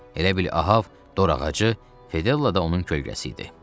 Elə bil Ahab dorağacı, Fedella da onun kölgəsi idi.